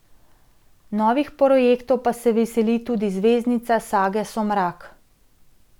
Novih projektov pa se veseli tudi zvezdnica sage Somrak.